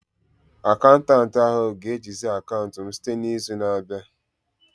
Akaụntanti ahu ga-ejizi akaụntụ m site n'izu na-abịa